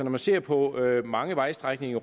man ser på mange vejstrækninger